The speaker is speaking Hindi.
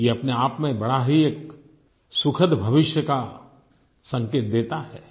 ये अपनेआप में बड़ा ही एक सुखद भविष्य का संकेत देता है